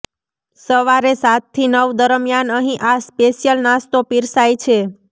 સવારે સાતથી નવ દરમિયાન અહીં આ સ્પેશ્યલ નાસ્તો પીરસાય છે